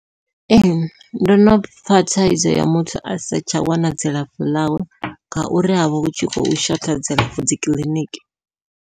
Ee ndo no pfha thaidzo ya muthu a sa tsha wana dzilafho ḽawe, ngauri havha hu tshi khou shotha dzilafho dzi kiḽiniki.